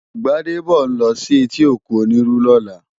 Gbadebo n lò si éti ókún Oniru lòlá